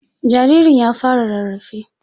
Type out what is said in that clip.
Jaririn ya fara rarrafe.